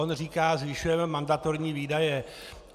On říká: zvyšujeme mandatorní výdaje.